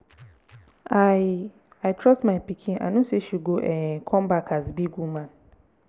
i i trust my pikin i no say she go um come back as big woman.